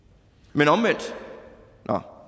men omvendt nå